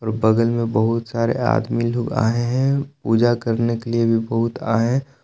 बगल में बहुत सारे आदमी लोग आए हैं पूजा करने के लिए भी बहुत आए।